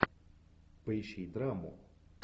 поищи драму